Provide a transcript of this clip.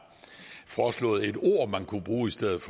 foreslået et ord som man kunne bruge i stedet